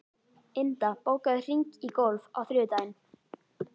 Inda, bókaðu hring í golf á þriðjudaginn.